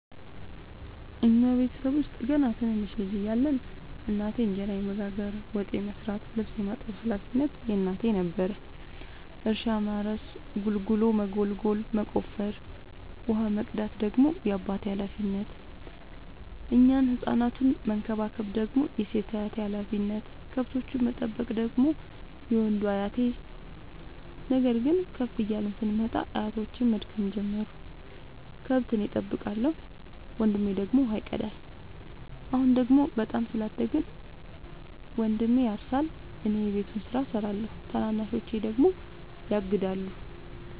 እኛ ቤተሰብ ውስጥ ገና ትንንሽ ልጅ እያለን እናቴ እንጀራ የመጋገር፤ ወጥ የመስራት ልብስ የማጠብ ሀላፊነቱ የእናቴ ነበረ። እርሻ ማረስ ጉልጎሎ መጎልጎል መቆፈር፣ ውሃ መቅዳት ደግሞ የአባቴ ሀላፊነት፤ እኛን ህፃናቱን መከባከብ ደግሞ የሴት አያቴ ሀላፊነት፣ ከብቶቹን መጠበቅ ደግሞ የወንዱ አያቴ። ነገር ግን ከፍ እያልን ስንመጣ አያቶቼም መድከም ጀመሩ ከብት እኔ ጠብቃለሁ። ወንድሜ ደግሞ ውሃ ይቀዳል። አሁን ደግሞ በጣም ስላደግን መንድሜ ያርሳ እኔ የቤቱን ስራ እሰራለሁ ታናናሾቼ ደግሞ ያግዳሉ።